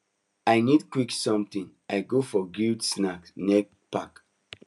i need quick something i go for grilled snack near park